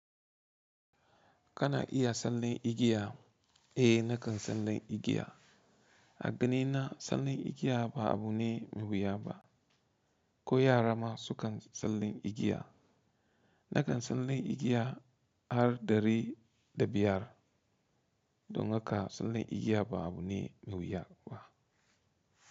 Kana iya sallan igiya? Eh nakan sallan igiya. A ganina sallan igiya ba abu ne me wuya ba. Ko yara ma su kan sallan igiya. Nakan sallan igiya har ɗari da biyar, don haka sallan igiya ba abu ne me wuya ba.